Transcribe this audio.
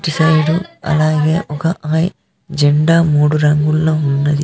ఇటుసైడు అలాగే ఒక జెండా మూడు రంగుల్లో ఉన్నది.